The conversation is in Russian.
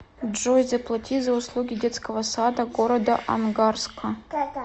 джой заплати за услуги детского сада города ангарска